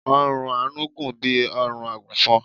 ọrùn Anu gùn bí órùn agùnfọn